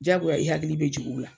Jagoya i hakili be jigi ula